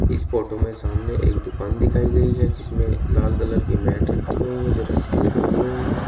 इस फोटो में सामने एक दुकान दिखाई गई है जिसमें लाल कलर की मैट रखी हुई है जो रस्सी से बंधी हुई है।